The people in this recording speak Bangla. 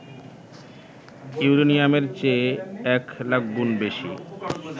ইউরেনিয়ামের চেয়ে ১০০০০০ গুণ বেশি